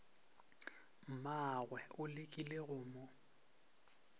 mmagwe o lekile go mo